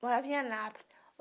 Morava em Anápolis